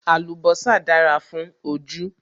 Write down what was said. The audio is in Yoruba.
Àlùbọ́sà dára fún ojú